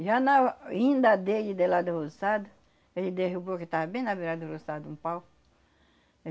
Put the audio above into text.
Já na vinda dele, de lá do roçado, ele derrubou, que estava bem na beirada do roçado, um pau.